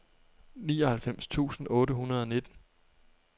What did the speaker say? nioghalvfems tusind otte hundrede og nitten